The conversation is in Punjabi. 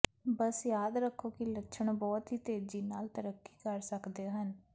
ਬਸ ਯਾਦ ਰੱਖੋ ਕਿ ਲੱਛਣ ਬਹੁਤ ਹੀ ਤੇਜ਼ੀ ਨਾਲ ਤਰੱਕੀ ਕਰ ਸਕਦੇ ਹਨ